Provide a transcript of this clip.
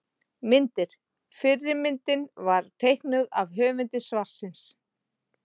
Myndir: Fyrri myndin var teiknuð af höfundi svarsins.